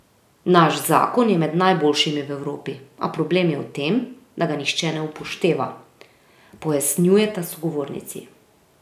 Naš zakon je med najboljšimi v Evropi, a problem je v tem, da ga nihče ne upošteva, pojasnjujeta sogovornici.